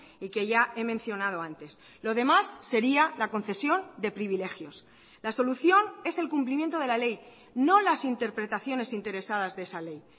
y que ya he mencionado antes lo demás sería la concesión de privilegios la solución es el cumplimiento de la ley no las interpretaciones interesadas de esa ley